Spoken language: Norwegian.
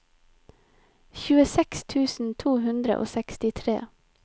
tjueseks tusen to hundre og sekstitre